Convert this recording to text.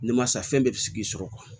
Masa fɛn bɛɛ bɛ sigi